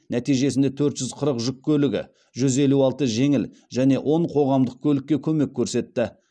нәтижесінде төрт жүз қырық жүк көлігі жүз елу алты жеңіл және он қоғамдық көлікке көмек көрсетті